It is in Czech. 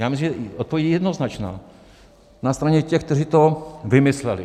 Já myslím, že odpověď je jednoznačná: na straně těch, kteří to vymysleli.